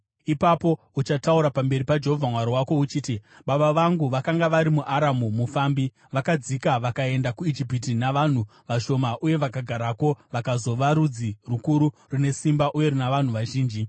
Ipapo uchataura pamberi paJehovha Mwari wako, uchiti, “Baba vangu vakanga vari muAramu mufambi, vakadzika vakaenda kuIjipiti navanhu vashoma uye vakagarako vakazova rudzi rukuru, rune simba uye runa vanhu vazhinji.